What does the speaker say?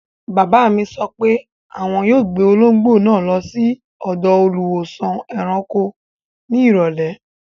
Bàbá mi sọ pé àwọn yóò gbé olóńgbò náà lọ sí ọ̀dọ̀ Olùwósàn-ẹranko ní ìrọ̀lẹ́.